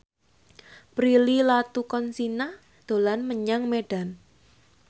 Prilly Latuconsina dolan menyang Medan